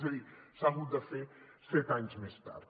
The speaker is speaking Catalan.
és a dir s’ha hagut de fer set anys més tard